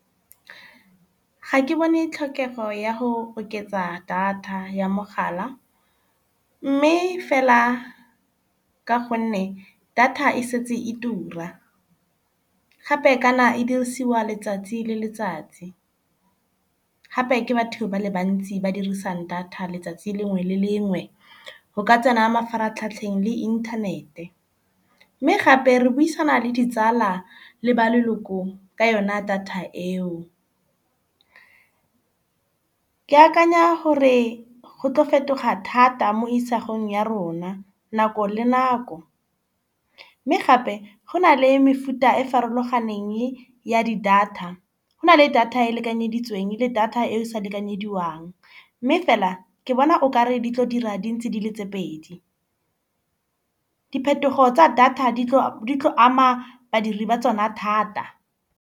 Ga ke bone tlhokego ya go oketsa data ya mogala. Mme fela ka gonne data e setse e tura gape kana e dirisiwa letsatsi le letsatsi. Gape ke batho ba le bantsi ba dirisang data letsatsi lengwe le lengwe go ka tsena mafaratlhatlheng le inthanete. Mme gape re buisana le ditsala le ba leloko ka yona data eo. Ke akanya gore go tlo fetoga thata mo isagong ya rona nako le nako. Mme gape go na le mefuta e farologaneng ya di-data. Go na le data e e lekanyeditsweng le data e sa lekanyediwang. Mme fela ke bona o kare di tlo dira di ntse di le tse pedi. Diphetogo tsa data di tlo ama badiri ba tsona thata.